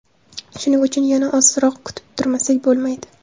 Shuning uchun yana ozroq kutib turmasak bo‘lmaydi.